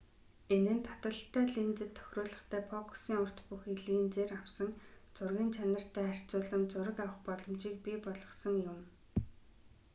энэ нь таталттай линзэд тохируулгатай фокусын урт бүхий линзээр авсан зургын чанартай харьцуулам зураг авах боломжийг бий болгосон юм